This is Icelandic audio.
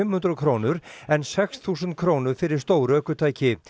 hundruð krónur en sex þúsund krónur fyrir stór ökutæki